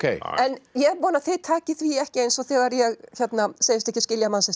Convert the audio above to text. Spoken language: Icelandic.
en ég vona að þið takið því ekki eins og þegar ég segist ekki skilja